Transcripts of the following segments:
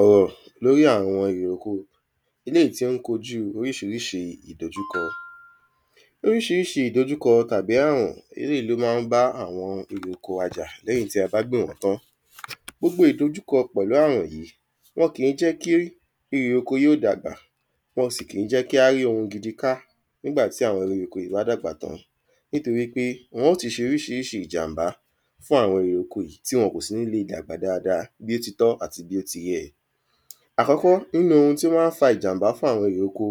Ọ̀rọ̀ l'órí àwọn èrè òko eléyí tí ó ńkojú oríṣiríṣi ìdojúkọ. Oríṣiríṣi ìdojúkọ tàbí àrùn eléyí ló má ń bá àwọn erè oko wa jà l’ẹ́yìn tí a bá gbìn wọ́n tán Gbogbo ìdojúkọ pẹ̀lú àrùn yìí wọ́n kí ń jẹ́ kí erè oko yó dàgbà Wọn sì kí jẹ́ kí á rí ohun gidi ká n'ígbà tí àwọn erè oko yí bá dàgbà tán Níorí wí pé wọ́n ó ti ṣe oríṣiríṣi ìjàmbá fún erè oko yí tí wọn kò sì ní le dagbà dada bí ó ti tọ́ àti bí ó ti yẹ Àkọ́kọ́ n'ínú ohun tí ó má ń fa ìjàmbá fún àwọn erè oko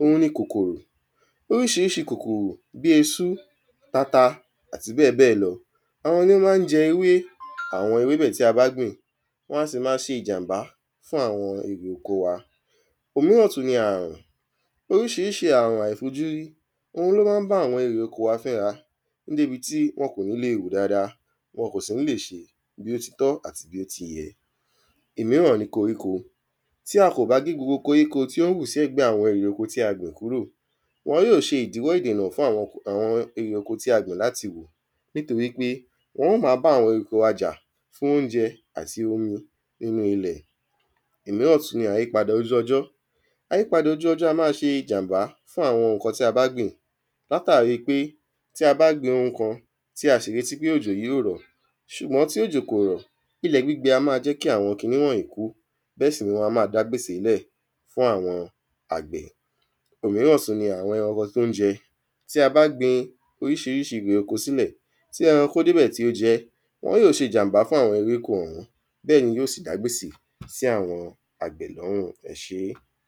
òun ni kòkòrò Oríṣiríṣi kòkòrò bí isú, tata àti bẹ́ẹ̀ lọ Àwọn ni ọ́ má ń jẹ ewé; àwọn ewébẹ̀ tí a bá gbìn. Wọn a sì ma ṣe ìjàmbá fún àwọn erè oko Òmíràn tú ni àrùn Oríṣiríṣi àrùn àìfojúrí òun l’ó má ń bá àwọn erè oko fín 'rà de'bi tí wọn kò ní lè wù dada. wọ́n kò sì ní lè ṣe bí ó ti tọ́ àti bí ó ti yẹ Imíràn ni koríko. Tí a kò bá gé gbogbo koríko tí ó ń wù sí ẹ̀gbẹ́ àwọn erè oko tí a gbìn kúrò Wọn yí ò ṣe ìdíwọ́ ìdènà fún àwọn erè oko tí a gbìn l’áti wù nítorí pé wọ́n ó ma bá àwọn erè oko fún óunjẹ àti omi n’ínú ilẹ̀. ìmíràn tú ni ayípadà ojú ọjọ́ Ayípadà ojú ọjọ́ a má ṣe ìjàmbá fún àwọn ǹkan tí a bá gbìn. L’átàri pé, tí a bá gbin ohun kan tí a sì retí pe òjò yí ó rọ̀ ṣùgbọn tí òjò kò rọ̀ ilẹ̀ gbígbẹ a má jẹ́ kí àwọn ki ní wọ̀nyí kú. Bẹ́ẹ̀ sì ni wọn a má a dá gbèsè ‘lẹ̀. fún àwọn àgbẹ̀. Òmíràn tú ni àwọn ẹran t’ó ń jẹ Tí a bá gbin oríṣiríṣi erè oko sí lẹ̀, tí ẹranko dé bẹ̀ tí ó jẹ́ wọ́n yó ṣe ìjàmbá fún àwọn ewéko ọ̀hún. Bẹ́ẹ̀ ni yó sì dá gbèsè sí àwọn àgbẹ̀ l’ọ́rùn. Ẹ ṣé